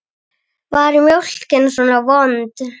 Hendur hans.